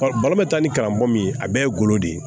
ta ni karamɔgɔ min ye a bɛɛ ye golo de ye